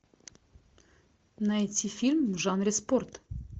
найти фильм в жанре спорт